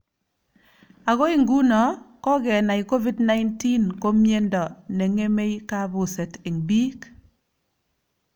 Agoi nguno kogenai Covid-19 ko miendo ne ng'emei kabuset eng biik